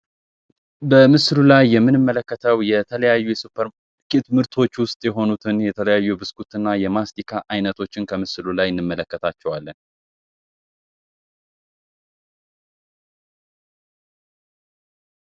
በምስሉ ላይ የምንመለከተው የተለያዩ ሱፐር ምርቶች ውስጥ የሆኑትን የተለያዩ ብስኩትና የማስታይነቶችን ከምስሉ ላይ እንመለከታቸዋለን።